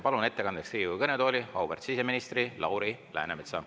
Palun ettekandeks Riigikogu kõnetooli auväärt siseministri Lauri Läänemetsa.